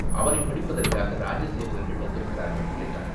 அவனைப் பிடிப்பதற்காக இராஜ சேவகர்கள் வந்திருக்கிறார்கள், என்றான்.